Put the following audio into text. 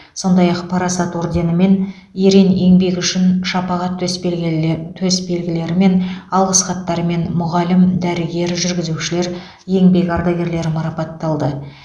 сондай ақ парасат орденімен ерен еңбегі үшін шапағат төсбелгіле төсбелгілерімен алғыс хаттармен мұғалім дәрігер жүргізушілер еңбек ардагерлері марапатталды